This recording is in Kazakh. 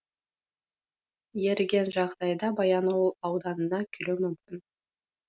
еріген жағдайда баянауыл ауданына келуі мүмкін